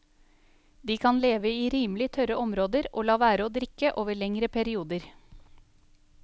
De kan leve i rimelig tørre områder og la være å drikke over lengre perioder.